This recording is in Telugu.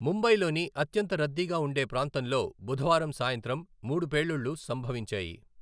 ముంబైలోని అత్యంత రద్దీగా ఉండే ప్రాంతంలో బుధవారం సాయంత్రం మూడు పేలుళ్లు సంభవించాయి.